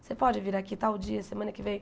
Você pode vir aqui tal dia, semana que vem?